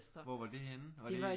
Hvor var det henne var det i